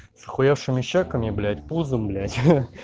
с ахуевшими чеками блять пузом блять ха